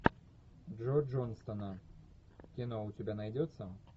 джо джонстона кино у тебя найдется